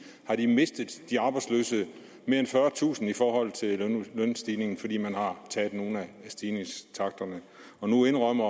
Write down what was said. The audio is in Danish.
mistet mere end fyrretusind kroner i forhold til lønstigningerne fordi man har taget nogle af stigningstakterne nu indrømmer